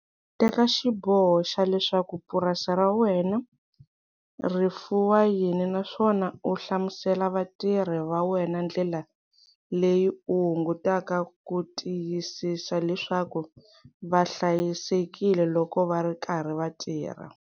Teka xiboho xa leswaku purasi ra wena ri fuwa yini naswona u hlamusela vatirhi va wena ndlela leyi u hungutaka ku tiyisisa leswaku va hlayisekile loko va ri karhi va tirha.